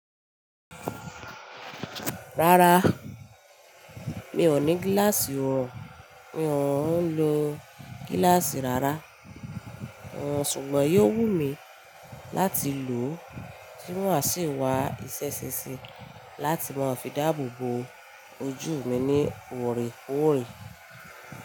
Rárá, mi ò ní gíláàsì orun, mi ò ń lo gíláàsì rárá. Wọ́n ṣùgbọ́n yóò wù mí láti lò ó, kí wọ́n sì wá iṣẹ́ ṣinṣin láti máa fi dáàbò bo ojú mi ní oore kore.